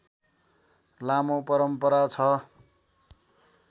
लामो परम्परा छ